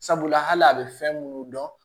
Sabula hali a be fɛn munnu dɔn